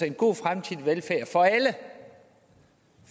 en god fremtidig velfærd